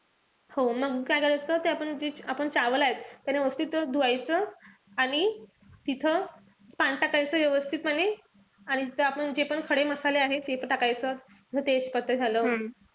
हो मग काय करायचं ते आपण जे आहेत. त्यांना व्यवस्थित धुवायच. आणि तिथं पाणी टाकायचं व्यवस्थितपणे. आणि ते आपण जे पण खडे मसाले आहेत. तेपण टाकायचे. जस तेजपत्ता झालं,